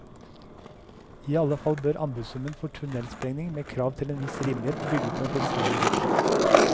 I alle fall bør anbudssummen for tunnelsprengning, med krav til en viss rimelighet, bygge på en fleksibel sum.